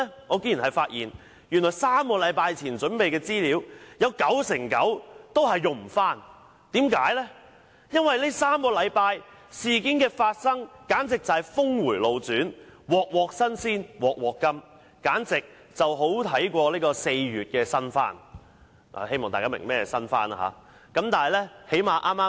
我竟然發現，原來3星期前準備的資料，有九成九都不能重用，因為在這3星期，事件的發生簡直是峰迴路轉，"鑊鑊新鮮鑊鑊甘"，比4月的"新番"更好看——希望大家明白何謂"新番"。